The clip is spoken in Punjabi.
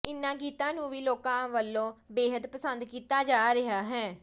ਇਨ੍ਹਾਂ ਗੀਤਾਂ ਨੂੰ ਵੀ ਲੋਕਾਂ ਵਲੋਂ ਬੇਹੱਦ ਪਸੰਦ ਕੀਤਾ ਜਾ ਰਿਹਾ ਹੈ